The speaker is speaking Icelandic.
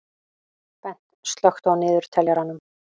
Bent, slökktu á niðurteljaranum.